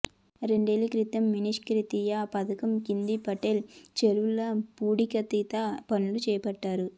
రెండేళ్ల క్రితం మిషన్కాకతీయ పథకం కింద పటేల్ చెరువు పూడికతీత పనులు చేపట్టారు